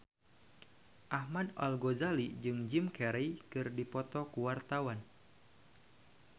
Ahmad Al-Ghazali jeung Jim Carey keur dipoto ku wartawan